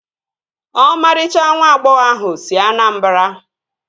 Ọmarịcha nwa agbọghọ ahụ si Anambara